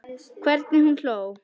Hvernig hún hló.